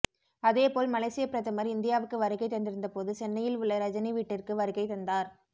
அதேபோல் மலேசிய பிரதமர் இந்தியாவுக்கு வருகை தந்திருந்தபோது சென்னையில் உள்ள ரஜினி வீட்டிற்கு வருகை தந்தார்